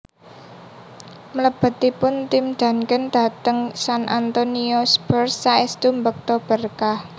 Mlebetipun Tim Duncan dhateng San Antonio Spurs saèstu mbekta berkah